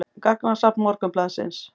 Gagnasafn Morgunblaðsins.